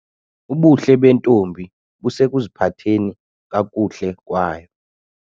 Ubuhle bentombi busekuziphatheni kakuhle kwayo.